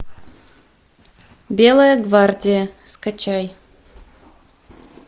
белая гвардия скачай